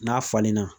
N'a falenna